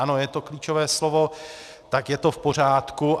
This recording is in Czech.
Ano, je to klíčové slovo, tak je to v pořádku.